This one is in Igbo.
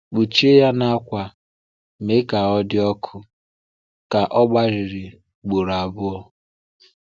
Kpuchie ya na akwa, mee ka ọ dị ọkụ ka ọ gbàrịrị ugboro abụọ.